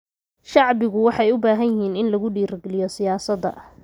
Shacbigu waxa ay u baahan yihiin in lagu dhiirigeliyo siyaasadda.